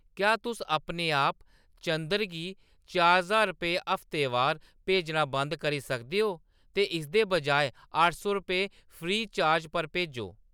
क्या तुस अपने आप चंदर गी चार ज्हार रपेऽ हफ्तेवार भेजना बंद करी सकदे ओ? ते इसदे बजाए अट्ठ सौ रपेऽ फ्री चार्ज पर भेजो ।